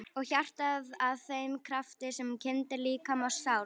Og hjartað að þeim krafti sem kyndir líkama og sál?